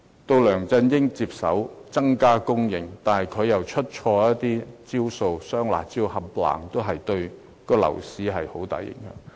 到梁振英接手，增加房屋供應，但他卻出錯招數，"雙辣招"等措施對樓市造成很大影響。